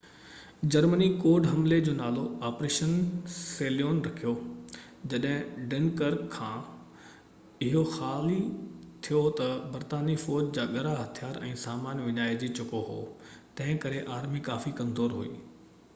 Germany code حملي جو نالو آپريشن سيليون” رکيو. جڏهن ڊنڪرڪ کان اهو خالي ٿيو ته، برطانوي فوج جا ڳرا هٿيار ۽ سامان وڃائجي چڪو هو، تنهن ڪري آرمي ڪافي ڪمزور هئي